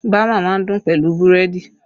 Bama má ń dùn pẹ̀lú búrẹ́dì